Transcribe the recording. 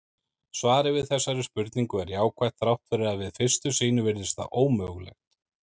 Svarið við þessari spurningu er jákvætt þrátt fyrir að við fyrstu sýn virðist það ómögulegt.